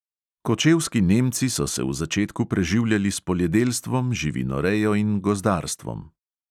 Kočevski nemci so se v začetku preživljali s poljedelstvom, živinorejo in gozdarstvom.